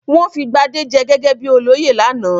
Wọ́n fi Gbadé jẹ gẹ́gẹ́ bí olóyè lánàá?